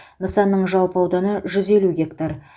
нысанның жалпы ауданы жүз елу гектар